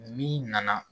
Ni nana